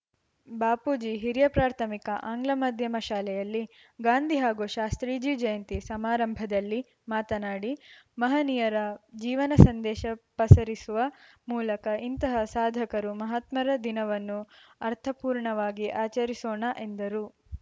ಬಾಪೂಜಿ ಹಿರಿಯ ಪ್ರಾಥಮಿಕ ಆಂಗ್ಲ ಮಾಧ್ಯಮ ಶಾಲೆಯಲ್ಲಿ ಗಾಂಧಿ ಹಾಗೂ ಶಾಸ್ತ್ರೀಜಿ ಜಯಂತಿ ಸಮಾರಂಭದಲ್ಲಿ ಮಾತನಾಡಿ ಮಹನೀಯರ ಜೀವನ ಸಂದೇಶ ಪಸರಿಸುವ ಮೂಲಕ ಇಂತಹ ಸಾಧಕರು ಮಹಾತ್ಮರ ದಿನವನ್ನು ಅರ್ಥಪೂರ್ಣವಾಗಿ ಆಚರಿಸೋಣ ಎಂದರು